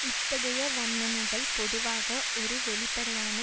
இத்தகைய வர்ணனைகள் பொதுவாக ஒரு வெளிப்படையான